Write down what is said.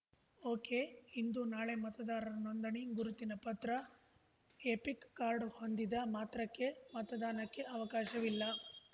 ಒಕೆಇಂದು ನಾಳೆ ಮತದಾರರ ನೋಂದಣಿ ಗುರುತಿನ ಪತ್ರ ಎಪಿಕ್‌ ಕಾರ್ಡ್‌ ಹೊಂದಿದ ಮಾತ್ರಕ್ಕೆ ಮತದಾನಕ್ಕೆ ಅವಕಾಶವಿಲ್ಲ